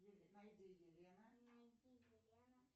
найди елена